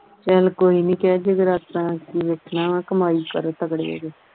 ਚਲ ਕੋਈ ਨਹੀਂ ਕਹਿ ਕੇ ਜਗਰਾਤਾ ਆ ਕੇ ਵੇਖਣਾ ਵਾਂ ਕਮਾਈ ਕਰੋ ਤਗੜੇ ਹੋ ਕੇ